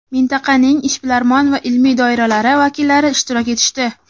mintaqaning ishbilarmon va ilmiy doiralari vakillari ishtirok etishdi.